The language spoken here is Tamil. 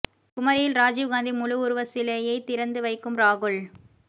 குமரியில் ராஜீவ் காந்தி முழு உருவ சிலையை திறந்து வைக்கும் ராகுல்